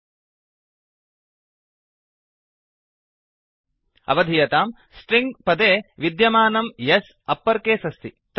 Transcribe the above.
अवधीयतां string string पदे विद्यमानं S S upper case अस्ति